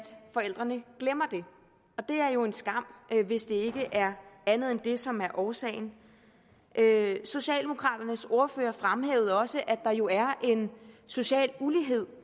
forældrene glemmer det og det er jo en skam hvis det ikke er andet end det som er årsagen socialdemokraternes ordfører fremhævede også at der jo er en social ulighed